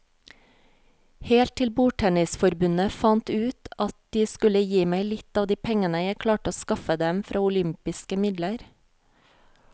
Helt til bordtennisforbundet fant ut at de skulle gi meg litt av de pengene jeg klarte å skaffe dem fra olympiske midler.